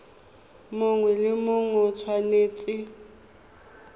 mongwe le mongwe o tshwanetse